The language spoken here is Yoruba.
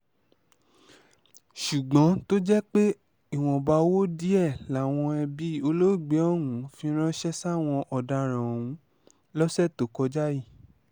ṣùgbọ́n tó jẹ́ pé ìwọ̀nba owó díẹ̀ làwọn ẹbí olóògbé ọ̀hún fi ránṣẹ́ sáwọn ọ̀daràn ọ̀hún lọ́sẹ̀ tó kọjá yìí